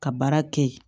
Ka baara kɛ yen